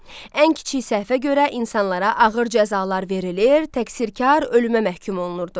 Ən kiçik səhvə görə insanlara ağır cəzalar verilir, təqsirkar ölümə məhkum olunurdu.